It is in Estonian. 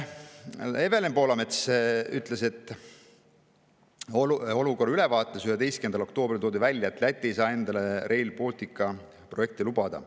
Evelin Poolamets ütles, et olukorra ülevaates 11. oktoobril toodi välja, et Läti ei saa endale Rail Balticu projekti lubada.